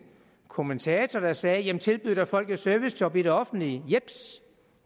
kommentator der sagde tilbyd da folk et servicejob i det offentlige jeps